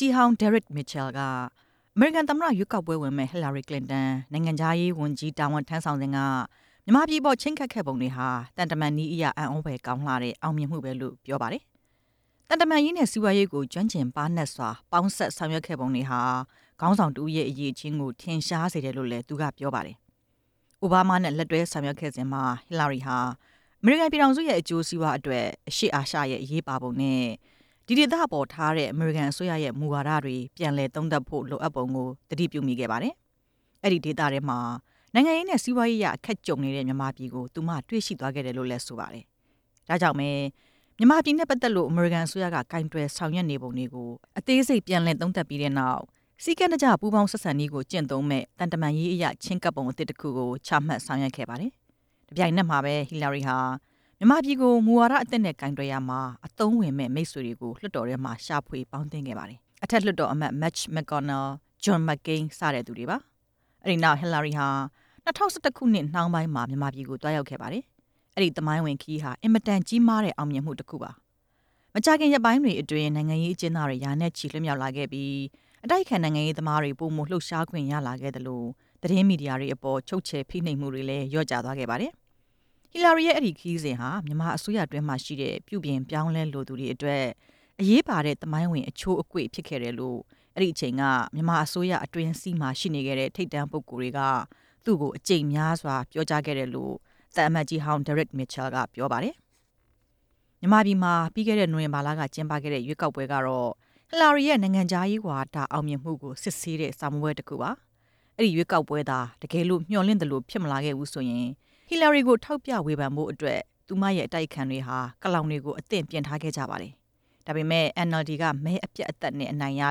ကြီးဟောင်း ဒဲရက်မစ်ချယ်က အမေရိကန် သမ္မတရွေးကောက်ပွဲဝင်မယ့် ဟီလာရီကလင်တန် နိုင် ငံခြားရေးဝန်ကြီးတာဝန် ထမ်းဆောင်စဉ်က မြန်မာပြည်အပေါ် ချဉ်းကပ်ခဲ့ပုံတွေဟာ သံတမန်နည်းအရ အံသြ ဖွယ်ကောင်းလှတဲ့ အောင်မြင်မှု ပါပဲ၊ သံတမန်ရေးနဲ့ စီးပွားရေးကို ကျွမ်းကျင်ပါးနပ်စွာ ပေါင်းစပ်ဆောင်ရွက်ခဲ့ ပုံတွေ ဟာ ခေါင်းဆောင်တဦးရဲ့ အရည်အချင်းကို ထင်ရှားစေတယ်လို့ ပြောပါတယ်။ အိုဘားမား နဲ့ လက်တွဲဆောင်ရွက်ခဲ့စဉ်မှာ ဟီလာရီဟာ အမေရိကန်ပြည်ထောင်စုရဲ့ အကျိုးစီးပွား အတွက် အရှေ့အာရှရဲ့အရေးပါပုံနဲ့ ဒီဒေသအပေါ်ထားရှိတဲ့ အမေရိကန် အစိုးရရဲ့ မူဝါဒတွေ ပြန်လည်သုံးသပ်ဖို့ လိုအပ်ပုံကို သတိပြုမိခဲ့ပါတယ်။ အဲဒီဒေသထဲမှာ နိုင်ငံရေးနဲ့ စီးပွားရေးအရ အခက်ကြုံနေရတဲ့ မြန်မာပြည်ကို သူမ တွေ့ရှိသွားခဲ့တယ်လို့ ဆိုပါတယ်။ ဒါကြောင့်ပဲ မြန်မာပြည်နဲ့ ပတ်သက်လို့ အမေရိကန် အစိုးရက ကိုင်တွယ်ဆောင်ရွက်နေပုံတွေကို အသေးစိပ်ပြန်လည် သုံးသပ်ပြီးနောက် စည်းကမ်းတကျ ပူးပေါင်းဆက်ဆံတဲ့နည်းကို ကျင့်သုံးမယ့် သံတမန်ရေးအရ ချဉ်းကပ်ပုံ အသစ် တခုကိုချမှတ် ဆောင်ရွက်ခဲ့ပါတယ်။ တပြိုင်နက်မှာပဲ ဟီလာရီဟာ မြန်မာပြည်ကို မူဝါဒသစ်နဲ့ ကိုင်တွယ်ရာမှာ အသုံးဝင်မယ့် မိတ်ဆွေတွေကို လွှတ်တော်ထဲမှာ ရှာဖွေပေါင်းသင်းခဲ့ပါတယ်။ အထက်လွှတ်တော် အမတ် မစ်ချ် မက်ကော်နယ်၊ ဂျွန်မက်ကိန်း စသူတွေပါ။ အဲဒီနောက် ဟီလာရီဟာ ၂ဝ၁၁ နှောင်းပိုင်းမှာ မြန်မာပြည်ကို သွားရောက်ခဲ့ပါတယ်။ အဲဒီ သမိုင်းဝင် ခရီးဟာ အင်မတန်ကြီးမားတဲ့ အောင်မြင်မှုတခုပါ။ မကြာခင် ရက်ပိုင်းတွေအတွင်း နိုင်ငံရေးအကျဉ်းသားတွေ ရာနဲ့ချီ လွှတ်မြောက်လာခဲ့ပြီး အတိုက်အခံနိုင်ငံရေးသမားတွေ ပိုမိုလှုပ်ရှားခွင့်ရလာခဲ့သလို သတင်းမီဒီယာတွေ အပေါ် ချုပ်ချယ်ဖိနှိပ်မှုတွေလည်း လျှော့ကျသွားခဲ့ပါတယ်။ ဟီလာရီရဲ့ အဲဒီခရီးစဉ်ဟာ မြန်မာအစိုးရအတွင်းမှာ ရှိတဲ့ ပြုပြင်ပြောင်းလဲလိုသူတွေအတွက် အရေးပါတဲ့ သမိုင်းဝင်အချိုးတကွေ့ဖြစ်ခဲ့တယ်လို့ အဲဒီအချိန်က မြန်မာ အစိုးရ အတွင်းစည်းမှာ ရှိနေခဲ့တဲ့ ထိပ်တန်းပုဂ္ဂိုလ်တွေက သူ့ကို အကြိမ်များစွာပြောကြားခဲ့ကြတယ်လို့ သံအမတ် ကြီးဟောင်း ဒဲရက် မစ်ချယ်က ပြောပါတယ်။ မြန်မာပြည်မှာ ပြီးခဲ့တဲ့ နိုဝင်္ဘာလ ကျင်းပခဲ့တဲ့ ရွေးကောက်ပွဲကတော့ ဟီလာရီရဲ့ နိုင်ငံခြားရေးဝါဒ အောင်မြင်မှုကို စစ်ဆေးတဲ့ စာမေးပွဲတခုပါပဲ။ အဲဒီရွေးကောက်ပွဲသာ တကယ်လု့ိ မျှော်လင့်သလိုဖြစ်မလာ ခဲ့ဖူးဆိုရင် ဟီလာရီကို ထောက်ပြဝေဖန်ဖို့အတွက် သူမရဲ့ အတိုက်အခံတွေဟာ ကလောင်တွေကို အသင့်ပြင်ထားခဲ့ကြတာပါ။ ဒါပေမယ့် NLD က တောင်ပြိုကမ်းပြို အနိုင်ရ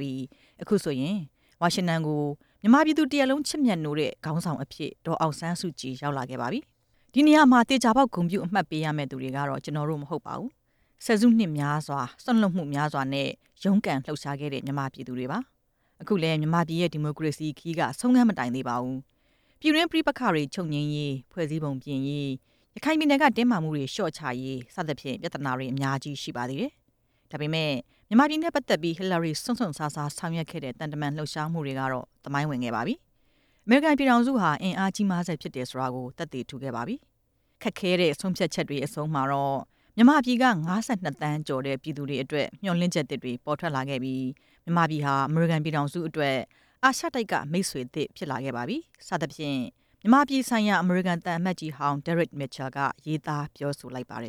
ပြီး အခုဆိုရင် ဝါရှင်တန်ကို မြန်မာပြည်သူ တရပ်လုံး ချစ်မြတ်နိုး တဲ့ နိုင်ငံ့ခေါင်းဆောင်အဖြစ် ဒေါ်အောင်ဆန်းစုကြည် ရောက်လာခဲ့ပါပြီ။ ဒီနေရာမှာ သေချာပေါက် ဂုဏ်ပြုရမယ့်သူတွေကတော့ ကျနော်တို့မဟုတ်ပါဖူး။ ဆယ်စုနှစ်များစွာ စွန့်လွှတ်မှုများ စွာနဲ့ ရုန်းကန်လှုပ်ရှားခဲ့တဲ့ မြန်မာပြည်သူတွေပါ။ အခုလည်း မြန်မာပြည်ရဲ့ ဒီမိုကရေစီခရီးက ဆုံးခန်း မတိုင်သေးပါဖူး။ ပြည်တွင်းပဋိပက္ခ တွေချုပ်ငြိမ်းရေး၊ ဖွဲ့စည်းပုံပြင်ရေး၊ ရခိုင်ပြည်နယ်က တင်းမာမှုတွေလျှော့ ချရေး စသဖြင့် ပြသနာတွေ အများကြီးရှိပါသေးတယ်။ ဒါပေမယ့် မြန်မာပြည်နဲ့ပတ်သက်ပြီး ဟီလာရီ စွန့်စွန့်စားစား ဆောင်ရွက်ခဲ့တဲ့ သံတမန်လှုပ်ရှားမှုတွေကတော့ သမိုင်းဝင်ခဲ့ပါပြီ။ အမေရိကန်ပြည်ထောင်စုဟာ အင်အားကြီးမားဆဲဖြစ်တယ်ဆိုတာကို သက်သေထူခဲ့ပါပြီ။ ခက်ခဲတဲ့ ဆုံးဖြတ်ချက်တွေ ရဲ့ အဆုံးမှာတော့ မြန်မာပြည်က ၅၂ သန်းကျော်တဲ့ ပြည်သူတွေအတွက် မျှော်လင့် ချက်သစ်တွေ ပေါ်ထွက်လာခဲ့ပြီး မြန်မာပြည်ဟာ အမေရိကန်ပြည်ထောင်စု အတွက် အာရှတိုက်က မိတ်ဆွေသစ် ဖြစ်လာခဲ့ပါပြီ စသဖြင့် မြန်မာပြည်ဆိုင်ရာ အမေရိကန်သံအမတ်ကြီးဟောာင်း ဒဲရက်မစ်ချယ် က ရေးသားပြောဆိုလိုက်ပါတယ်